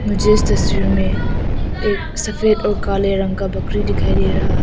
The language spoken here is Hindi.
मुझे इस तस्वीर में एक सफेद और काले रंग का बकरी दिखाई दे रहा है।